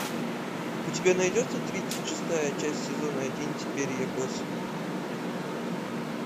у тебя найдется тридцать шестая часть сезона один теперь я босс